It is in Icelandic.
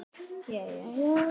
Alltaf svo góður við Möggu.